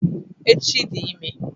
Echi dị ime.